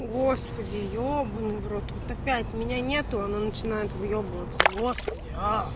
господи ебанный в рот вот опять меня нету она начинает выебываться господи аа